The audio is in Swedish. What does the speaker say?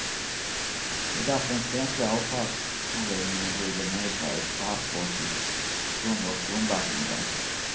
Det är därför den svenska avfallsanläggningen ligger nedgrävd på havsbotten, under grundvattennivån.